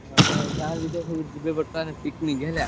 ଆମ ଗାଁ ଲୋକ ସବୁ ଯିବେ ବର୍ତ୍ତମାନ picnic ହେଲା।